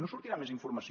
no sortirà més informació